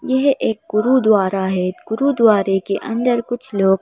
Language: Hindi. यह एक गुरुद्वारा है गुरुद्वारे के अंदर कुछ लोग--